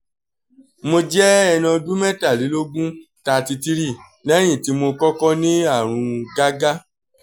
mo jẹ́ ẹni ọdún mẹ́tàlélógún thirty three lẹ́yìn tí mo kọ́kọ́ ní àrùn gágá